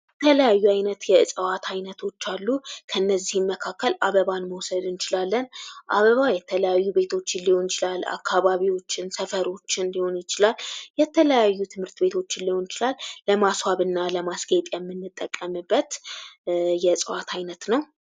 የተለያዩ አይነት የዕፅዋት አይነት አሉ። ከነዚህም መካከል አበባ መውሰድ እንችላለን። አበባ የተለያዩ ቤቶችን ሊሆን ይችላል፤ አከባቢዎች፣ ሰፈሮችን ሊሆን ይችላል ፤የተለያዩ ትምህርት ቤቶችን ሊሆን ይችላል። ለማስዋብ እና ለማስጌጥ የምንጠቀምበት የእፅዋት አይነት ነዉ።